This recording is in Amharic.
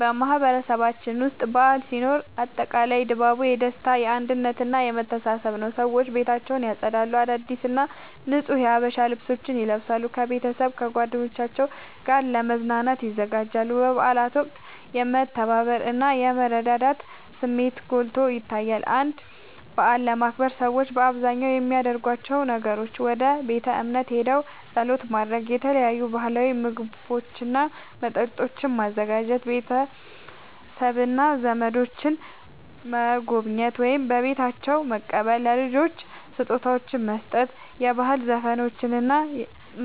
በማህበረሰባችን ውስጥ በዓል ሲኖር አጠቃላይ ድባቡ የደስታ፣ የአንድነት እና የመተሳሰብ ነዉ። ሰዎች ቤታቸውን ያጸዳሉ፣ አዳዲስ እና ንጹህ የሀበሻ ልብሶችን ይለብሳሉ፣ ከቤተሰብና ከጓደኞቻቸው ጋር ለመገናኘት ይዘጋጃሉ። በበዓላት ወቅት የመተባበር እና የመረዳዳት ስሜትን ጎልቶ ይታያል። አንድን በዓል ለማክበር ሰዎች በአብዛኛው የሚያደርጓቸው ነገሮች፦ ወደ ቤተ እምነት ሄደው ጸሎት ማድረግ፣ የተለያዩ ባህላዊ ምግቦችና መጠጦችን ማዘጋጀ፣ ቤተሰብና ዘመዶችን መጎብኘት ወይም በቤታቸው መቀበል፣ ለልጆች ስጦታዎችን መስጠት፣ የባህል ዘፈኖችንና